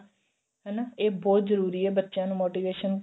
ਹਨਾ ਇਹ ਬਹੁਤ ਜਰੂਰੀ ਏ ਬੱਚਿਆਂ ਨੂੰ motivation